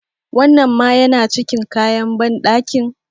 Wannan ma yana cikin kayan banɗakin?